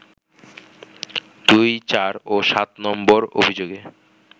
২, ৪ ও ৭ নম্বর অভিযোগে